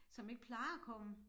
Som ikke plejer at komme